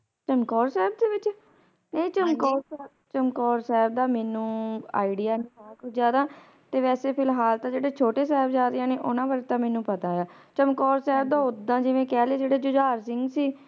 ਚਮਕੌਰ ਸਾਹਿਬ ਦੇ ਵਿਚ ਨਹੀਂ ਹਾਂਜੀ ਚਮਕੌਰ ਸਾਹਿਬ ਦਾ ਮੈਨੂੰ Idea ਨੀ ਜਿਆਦਾ ਤੇ ਵੈਸੇ ਫਿਲਹਾਲ ਤੇ ਜਿਹੜੇ ਛੋਟੇ ਸਾਹਿਬਜਾਦਿਆਂ ਨੇ ਓਹਨਾ ਬਾਰੇ ਤਾ ਮੈਨੂੰ ਪਤਾ ਚਮਕੌਰ ਸਾਹਿਬ ਦਾ ਓਦਾਂ ਜਿਵੇਂ ਕਹਿਲੇ ਜਿਹੜੇ ਝੁਝਾਰ ਸਿੰਘ ਸੀ